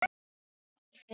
Ég man það ekki fyrir víst.